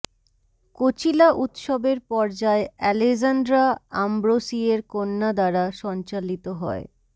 Coachella উত্সবের পর্যায় Alessandra আমব্রোসিয়ের কন্যা দ্বারা সঞ্চালিত হয়